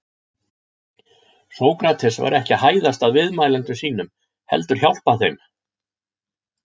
Sókrates var ekki að hæðast að viðmælendum sínum heldur hjálpa þeim.